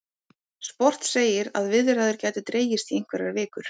Sport segir að viðræður gætu dregist í einhverjar vikur